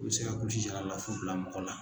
O bi se ka kulusijala lafu bila mɔgɔ la.